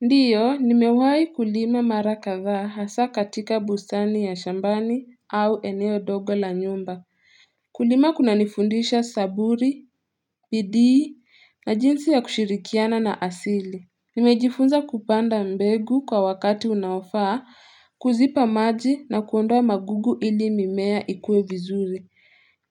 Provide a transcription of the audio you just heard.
Ndiyo, nimewai kulima mara kadhaa hasa katika bustani ya shambani au eneo dogo la nyumba. Kulima kunanifundisha saburi, bidii na jinsi ya kushirikiana na asili. Nimejifunza kupanda mbegu kwa wakati unaofaa, kuzipa maji na kuondoa magugu ili mimea ikue vizuri.